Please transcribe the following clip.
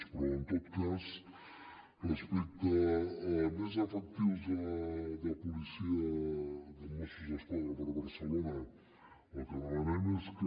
però en tot cas respecte a més efectius de policia de mossos d’esquadra per barcelona el que demanem és que